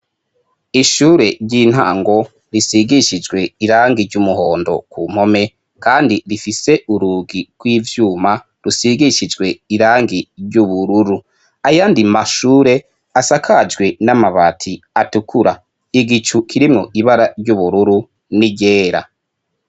ishure ryintango risigishijwe irangi ryumuhondo ku mpome kandi rifise urugi rw'ivyuma rusigishijwe irangi ryubururu ayandi mashure asakajwe namabati atukura igicu kirimwo ibara ryubururu niryera